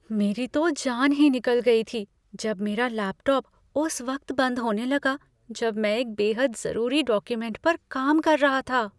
मेरी तो जान ही निकल गई थी जब मेरा लैपटॉप उस वक्त बंद होने लगा जब मैं एक बेहद ज़रूरी डॉक्यूमेंट पर काम कर रहा था।